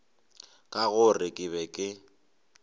ka gore ke be ke